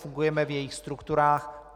Fungujeme v jejích strukturách.